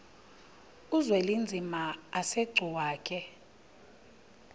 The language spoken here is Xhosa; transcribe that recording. uzwelinzima asegcuwa ke